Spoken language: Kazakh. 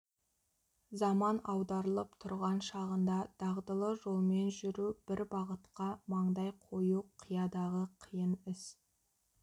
заман аударылып тұрған шағында дағдылы жолмен жүру бір бағытқа маңдай қою қиядағы қиын іс